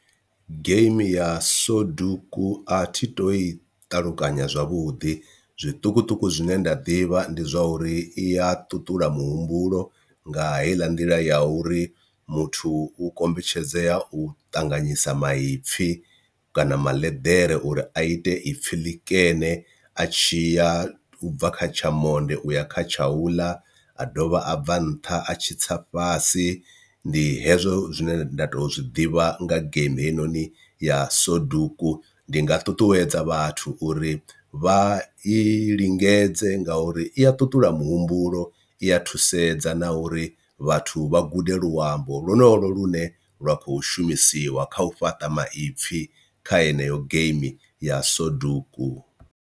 Game ya soduku a thi to i ṱalukanya zwavhuḓi zwiṱukuṱuku zwine nda ḓivha ndi zwa uri iya ṱuṱula muhumbulo nga heiḽa nḓila ya uri muthu u kombetshedzea u ṱanganyisa maipfhi kana maḽeḓere uri a ite ipfhi ḽikene a tshi ya ubva kha tsha monde uya kha tshauḽa, a dovha a bva nṱha atshi tsa fhasi ndi hezwo zwine nda tou zwiḓivha nga geimi heinoni ya soduku. Ndi nga ṱuṱuwedza vhathu uri vha i lingedze nga uri i a ṱuṱula muhumbulo i a thusedza na uri vhathu vha gude luambo lwonolu lune lwa kho shumisiwa kha u fhaṱa maipfhi kha heneyo game ya soduku.